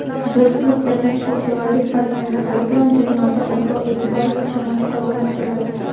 do‘stlik va tinchliksevarlik fazilatlari bilan dunyoda obro‘-eʼtibor va hurmat qozonib keladi.